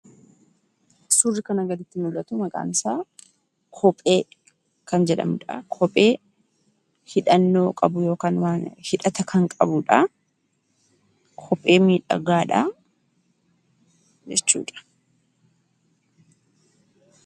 Suurri kana gaditti mul'atu, maqaan isaa kophee kan jedhamudha. Kophee hidhannoo qabu yookaan hidhata kan qabudha. Kophee miidhagaadha jechuudha.